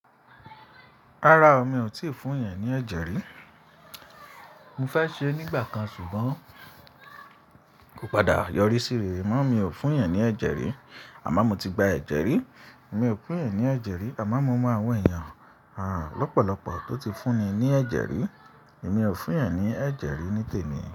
Rárá o, mi ò tíì fún yan ní ẹ̀jẹ̀ rí. Mo fẹ́ ṣe é nígbà kan ṣùgbọ́n kò padà yọrí síre. Mọ́, mi ò fún yan ní ẹ̀jẹ̀ rí àmọ́ mo ti gba ẹ̀jẹ̀ rí. Mi ò fun yan ní ẹ̀jẹ̀ rí àmọ́ mo mọ àwọn èèyàn há lọ́pọ̀lọpọ̀ tó ti fún ni ní ẹ̀jẹ̀ rí. Èmi ò fún yan ní ẹ̀jẹ̀ rí ní tèmi.